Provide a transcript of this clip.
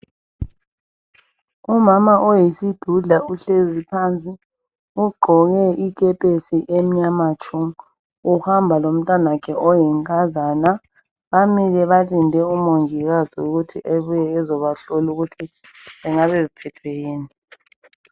umama oyisidudla uhlezi phansi ugqoke ikhephesi yakhe emnyama tshu uhamba lomntwana wakhe oyinkazana bamile balinde umongikazi ukuthi ebuye bezobahlola ukuthi bengabe bephethwe yikuyini